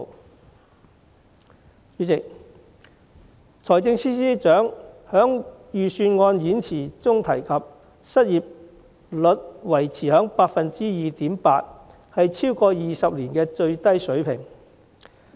代理主席，財政司司長在預算案演辭中提及，失業率維持在 2.8%， 是超過20年的最低水平。